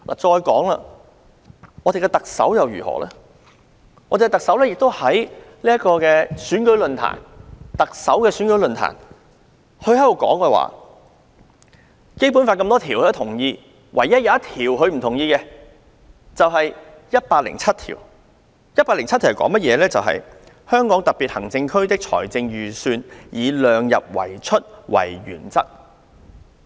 再說，林鄭月娥曾在特首選舉論壇上表示，她認同《基本法》各項條文，唯獨不同意第一百零七條。《基本法》第一百零七條訂明："香港特別行政區的財政預算以量入為出為原則"。